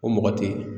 O mɔgɔ tɛ ye